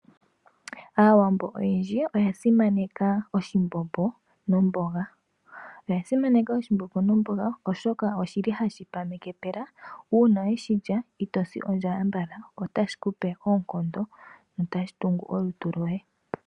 Aawambo oyendji oya simaneka oshimbombo nomboga